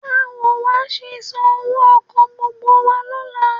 Báwo wà á ṣe san owó ọkọ̀ gbogbo wa lọ́la?